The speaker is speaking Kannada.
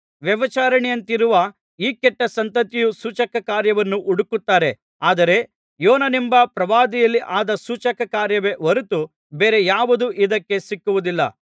ವ್ಯಭಿಚಾರಿಣಿಯಂತಿರುವ ಈ ಕೆಟ್ಟ ಸಂತತಿಯು ಸೂಚಕಕಾರ್ಯವನ್ನು ಹುಡುಕುತ್ತಾರೆ ಆದರೆ ಯೋನನೆಂಬ ಪ್ರವಾದಿಯಲ್ಲಿ ಆದ ಸೂಚಕಕಾರ್ಯವೇ ಹೊರತು ಬೇರೆ ಯಾವುದೂ ಇದಕ್ಕೆ ಸಿಕ್ಕುವುದಿಲ್ಲ